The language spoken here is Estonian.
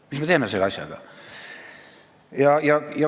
Mis me teeme selle asjaga?